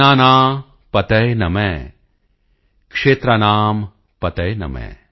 ਅੰਨਾਨਾਂ ਪਤਯੇ ਨਮ ਕਸ਼ੇਤਰਾਣਾਮ ਪਤਯੇ ਨਮ